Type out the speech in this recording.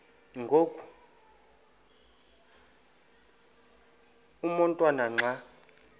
ngoku umotwana xa